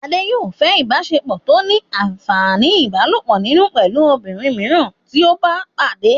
Adé yòó fẹ́ ìbáṣepọ̀ tó ní àǹfàní ìbálòpọ̀ nínú pẹ̀lú obìnrin mìíràn tí ó bá pàdé